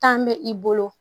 Tan bɛ i bolo